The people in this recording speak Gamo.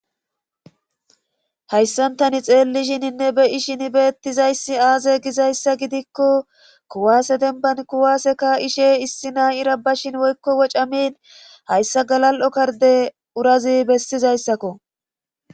Hayssantani xeellishininne be ishin beettizayssi aaze gizayssa gidikko kuwaase denban kuwaaseka ishe issi nay ira bashin woykko wocamin hayssa galal7o karde urazi bestizayssakko